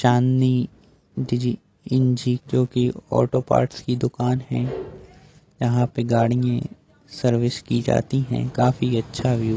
चाँदनी auto parts की दुकान है यहाँ पर गाड़िये सर्विस की जाती है काफी अच्छा व्यू --